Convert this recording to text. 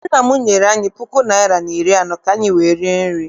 Nna m nyere anyị puku naịra na iri anọ ka anyị wee rie nri.